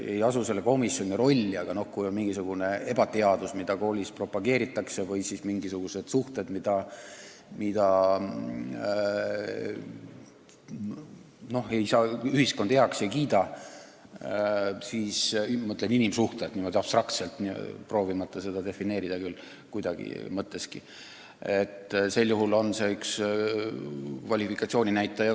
Ma ei asu selle komisjoni rolli, aga kui koolis propageeritakse mingisugust ebateadust või on mingisugused suhted, mida ühiskond heaks ei kiida – ma mõtlen inimsuhteid niimoodi abstraktselt, proovimata seda kuidagi defineerida –, siis sel juhul on see üks kvalifikatsiooni näitaja.